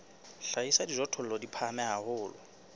hlahisa dijothollo di phahame haholo